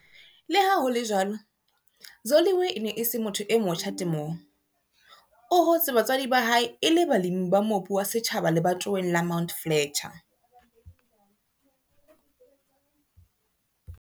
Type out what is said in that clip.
Le ha ho le jwalo, Zoliwe e ne e se motho e motjha temong. O hotse batswadi ba hae e le balemi ba mobu wa setjhaba lebatoweng la Mount Fletcher.